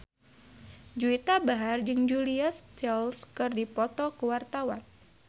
Juwita Bahar jeung Julia Stiles keur dipoto ku wartawan